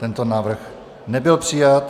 Tento návrh nebyl přijat.